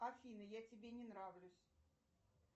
афина я тебе не нравлюсь